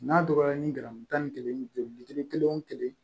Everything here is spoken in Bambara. N'a dɔgɔyara ni garamu tan ni kelen ni duuru kelen wo kelen